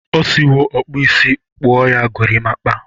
O siwo ọkpụisi kpọ ya gorimakpa.